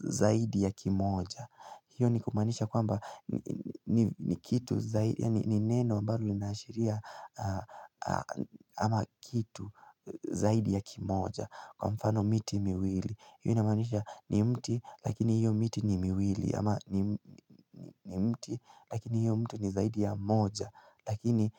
zaidi ya kimoja hiyo ni kumaanisha kwamba ni kitu zaidi ya ni neno ambalo linaashiria ama kitu zaidi ya kimoja Kwa mfano miti miwili hiyo inamanisha ni mti lakini hiyo miti ni miwili ama ni mti lakini hiyo mti ni zaidi ya moja Lakini.